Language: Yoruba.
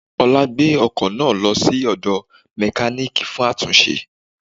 Ọlá gbé ọkò náà lọ sí òdò mékáníìkì fún àtúnṣe